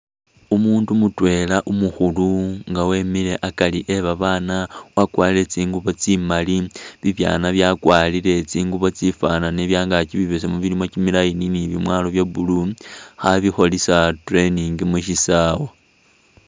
Umundu mutwela umukhulu nga emile akari e babana wakwarile tsingubo tsimaali bibyana byakwarile tsingubo tsifanane byangakyi bibesemu bili kyimi line ni byemwalo bye blue khabikosisa training mushisawa.